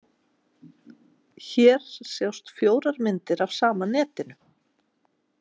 Hér sjást fjórar myndir af sama netinu.